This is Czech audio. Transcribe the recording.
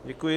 Děkuji.